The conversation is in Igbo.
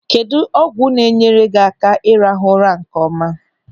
Kedụ ọgwụ na-enyere gị aka ị rahụ ụra nkeọma?